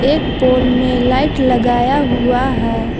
एक पोल में लाइट लगाया हुआ है।